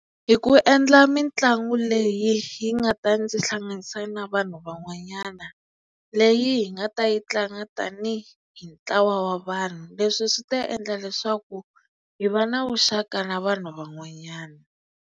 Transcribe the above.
Hi ku endla mitlangu leyi yi nga ta ndzi hlanganisa na vanhu van'wanyana leyi hi nga ta yi tlanga tanihi ntlawa wa vanhu leswi swi ta endla leswaku hi va na vuxaka na vanhu van'wanyana.